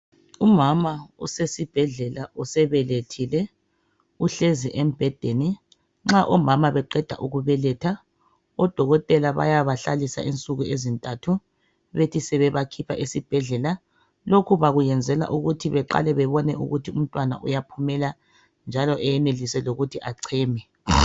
Umama usesibhedlela usebelethile. Uhlezi embhedeni. Nxa omama beqeda ukubeletha odokotela bayabahlalisa insuku ezintathu bethi sebebakhipha esibhedlela. Lokhu bakuyenzela ukuthi baqale bebone ukuthi umntwana uyaphumela njalo eyenelise lokuthi acheme.